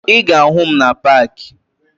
Ị ga-ahụ m na paakị